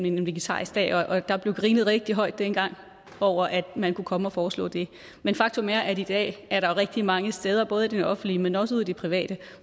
en vegetarisk dag og der blev grinet rigtig højt dengang over at man kunne komme og foreslå det men faktum er at i dag er der rigtig mange steder både i det offentlige men også ude i det private